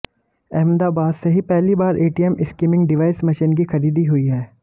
अहमदाबाद से ही पहली बार एटीएम स्किमिंग डिवाइस मशीन की खरीदी हुई है